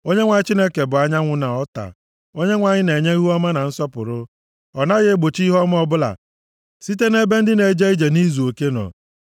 Onyenwe anyị Chineke bụ anyanwụ + 84:11 \+xt Aịz 60:19,20; Mkp 21:23\+xt* na ọta; Onyenwe anyị na-enye ihuọma na nsọpụrụ; ọ naghị egbochi ihe ọma ọbụla site nʼebe ndị na-eje ije nʼizuoke nọ.